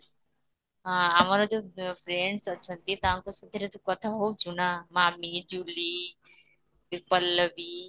ଆମର ଯୋଉ friends ଅଛନ୍ତି ତାଙ୍କ ସାଥିରେ ତୁ କଥା ହଉଛୁ ନା? ମାମି, ଜୁବଲୀ, ପଲ୍ଲବି